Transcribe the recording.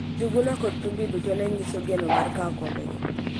Njuguna kod Thumbi duto ne nyiso geno mar kawo kombego.